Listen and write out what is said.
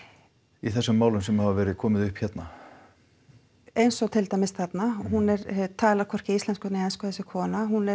í þessum málum sem hafa komið upp hérna eins og til dæmis þarna hún talar hvorki íslensku né ensku þessi kona hún er